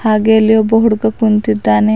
ಹಾಗೆ ಇಲ್ಲಿ ಒಬ್ಬ ಹುಡುಗ ಕುಂತಿದ್ದಾನೆ.